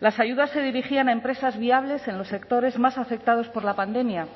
las ayudas se dirigían a empresas viables en los sectores más afectados por la pandemia